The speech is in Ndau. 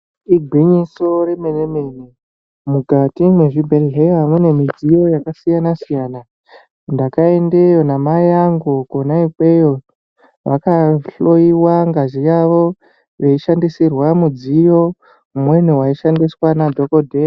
Igwinyiso remene mene mukati mwezvhi bhedhleya mune midziyo yakasiyana siyana. Ndakaendeyo namai angu kwona ikweyo vakahloyiwa ngazi yavo veishandisirwa mudziyo umweni waishandiswa nadhokodheya.